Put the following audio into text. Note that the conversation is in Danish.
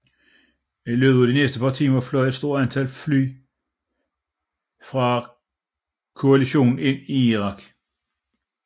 I løbet af de næste par timer fløj et stort antal fly fra koalitionen ind i Irak